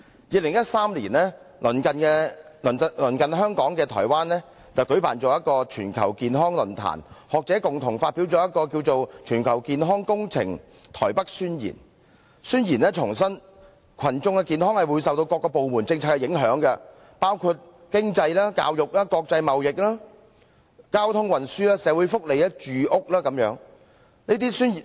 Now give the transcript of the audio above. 2013年，鄰近香港的臺灣舉行了全球健康論壇，學者共同發表名為"全球健康工程臺北宣言"，宣言重申群眾的健康會受到各個部門政策的影響，包括經濟、教育、國際貿易、交通運輸、社會福利、住屋等。